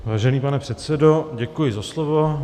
Vážený pane předsedo, děkuji za slovo.